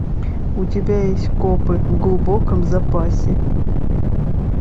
у тебя есть копы в глубоком запасе